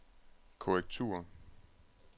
korrektur